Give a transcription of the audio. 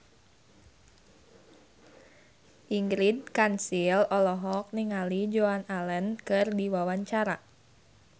Ingrid Kansil olohok ningali Joan Allen keur diwawancara